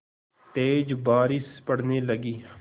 तेज़ बारिश पड़ने लगी